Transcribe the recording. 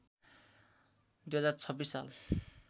२०२६ साल